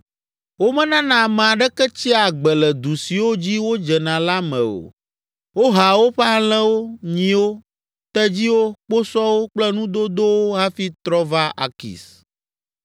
Womenana ame aɖeke tsia agbe le du siwo dzi wodzena la me o. Wohaa woƒe alẽwo, nyiwo, tedziwo, kposɔwo kple nudodowo hafi trɔ va Akis.